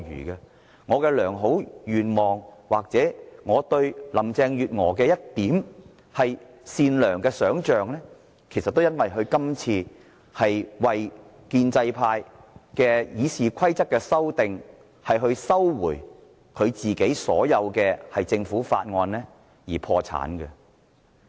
我抱有的良好願望或我對林鄭月娥善良的一點想象，其實都因為她今次為建制派修訂《議事規則》而收回所有政府法案而破產。